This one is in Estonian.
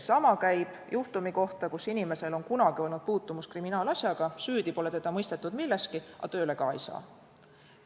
Sama käib juhtumi kohta, kui inimesel on kunagi olnud puutumus kriminaalasjaga, süüdi pole teda mõistetud milleski, aga tööle ka ei saa.